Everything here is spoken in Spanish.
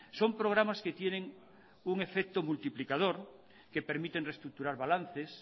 son programas que tienen un efecto multiplicador que permiten reestructurar balances